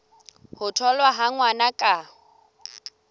ho tholwa ha ngwana ka